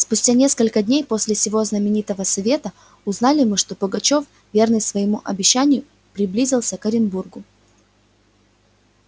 спустя несколько дней после сего знаменитого совета узнали мы что пугачёв верный своему обещанию приблизился к оренбургу